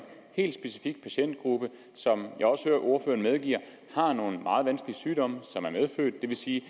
helt specifik patientgruppe som jeg også hører ordføreren medgive har nogle meget vanskelige sygdomme som er medfødte det vil sige